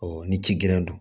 ni ci gɛlɛn